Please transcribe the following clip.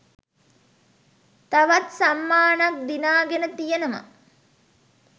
තවත් සම්මාන ක් දිනාගෙන තියෙනව